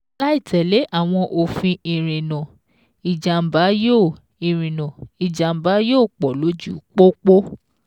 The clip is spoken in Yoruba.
Láìtẹ̀lé àwọn òfin ìrìnnà, ìjàm̀bá yóò ìrìnnà, ìjàm̀bá yóò pọ̀ lójú pópó.